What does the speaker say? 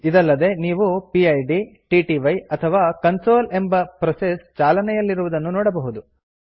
ಇದಲ್ಲದೆ ನೀವು PID TTY ಅಥವಾ ಕನ್ಸೋಲ್ ಎಂಬ ಪ್ರೋಸೆಸ್ ಚಾಲನೆಯಲ್ಲಿರುವುದನ್ನು ನೋಡಬಹುದು